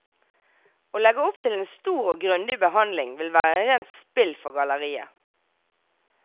Å legge opp til en stor og grundig behandling vil være rent spill for galleriet.